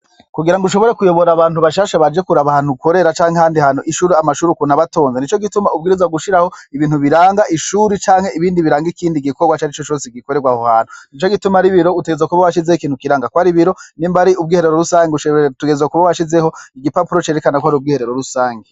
Kugira ngo ushobore kuyobora abantu bashasha baje kuraba ahantu ukorera canke ahandi hantu amashure ukuntu aba atoze nico gituma ubwirizwa gushiraho ibintu biraga ishure canke biraga ikindi gikorwa ica rico cose gikorerwa aho hantu, nico gituma ar'ibiro utegerezwa kuba washizeho ikintu kiraga kwari ibiro nimba ari ubwiherero rusangi utegerezwa kuba washizeho igipapuro kwari ubwiherero rusangi.